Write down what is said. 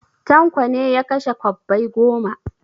Tanko ne ya kashe kwabbai goma.